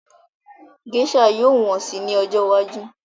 Gésà yóò wọ́n si ní ọjọ́ iwájú